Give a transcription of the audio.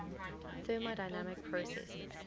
thermodynamic processes